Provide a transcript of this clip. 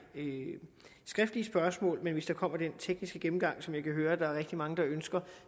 skriftlige spørgsmål men hvis der kommer den tekniske gennemgang som jeg kan høre at der er rigtig mange der ønsker